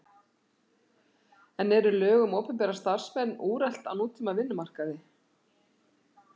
En eru lög um opinbera starfsmenn úrelt á nútíma vinnumarkaði?